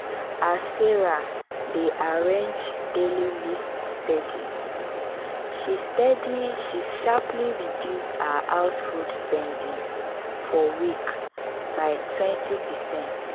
as sarah dey arrange daily list steady she steady she sharply reduce her house food spending for week by twenty percent